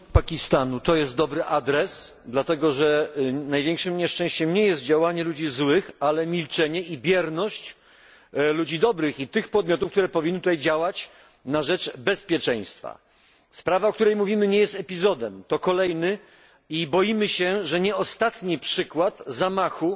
Panie Przewodniczący! Czy rząd Pakistanu to dobry adres? Dlatego że największym nieszczęściem nie jest działanie ludzi złych, ale milczenie i bierność ludzi dobrych i tych podmiotów, które powinny działać na rzecz bezpieczeństwa. Sprawa, o której mówimy nie jest epizodem. To kolejny i boimy się, że nie ostatni przykład zamachu,